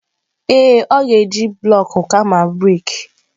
Ee, ọ ga-eji bụlọk kama brik.